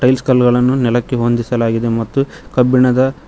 ಬಿಸ್ಕಲ್ಗಳನ್ನು ನೆಲಕ್ಕೆ ಹೊಂದಿಸಲಾಗಿದೆ ಮತ್ತು ಕಬ್ಬಿಣದ--